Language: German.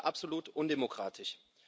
Das halte ich für absolut undemokratisch.